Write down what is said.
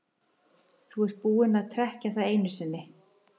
Þú ert búinn að trekkja það einu sinni.